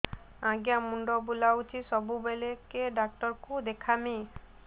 ଆଜ୍ଞା ମୁଣ୍ଡ ବୁଲାଉଛି ସବୁବେଳେ କେ ଡାକ୍ତର କୁ ଦେଖାମି